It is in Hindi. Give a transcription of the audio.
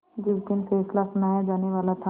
जिस दिन फैसला सुनाया जानेवाला था